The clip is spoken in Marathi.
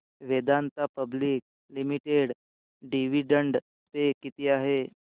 Vedanta public limited dividend pay किती आहे